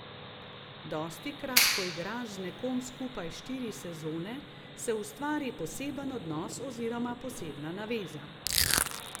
Dostikrat, ko igraš z nekom skupaj štiri sezone, se ustvari poseben odnos oziroma posebna naveza.